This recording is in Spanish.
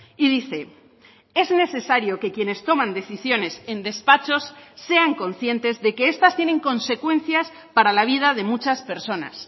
y dice es necesario que quienes toman decisiones en despachos sean conscientes de que estas tienen consecuencias para la vida de muchas personas